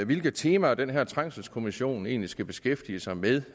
hvilke temaer den her trængselskommission egentlig skal beskæftige sig med